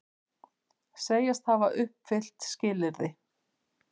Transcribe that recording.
Segjast hafa uppfyllt skilyrði